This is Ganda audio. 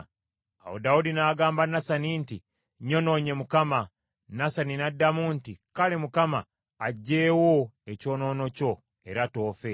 Awo Dawudi n’agamba Nasani nti, “Nnyonoonye Mukama .” Nasani n’addamu nti, “Kale, Mukama aggyeewo ekyonoono kyo era toofe.